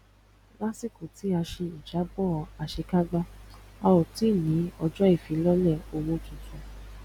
lásìkò tí a ṣe ìjábọ àṣekágbá a ò tí ní ọjọ ifilọlẹ owó titun